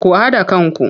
Ku haɗa kanku!